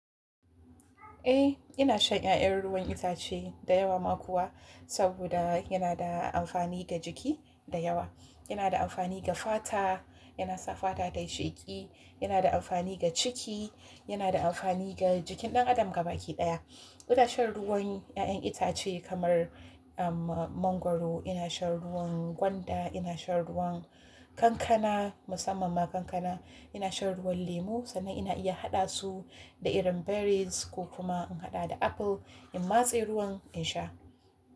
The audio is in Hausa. Eh, ina shan 'ya'yan ruwan itace da yawa ma kuwa saboda yana da amfani ga jiki da yawa. Yana da amfani ga fata, yana sa fata tayi sheki, yana da amfani ga ciki, yana da amfani ga jikin ɗan adam gaba ki ɗaya. Ina shan ruwan 'ya'yan itace kamar, um, mangwaro, ina shan ruwan gwanda, ina shan ruwan kankana, musamman ma kankana, ina shan ruwan lemu sannan ina iya haɗa su da irin berries ko kuma in haɗa da apple in matse ruwan in sha.